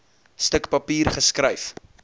stuk papier geskryf